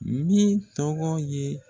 Min tɔgɔ ye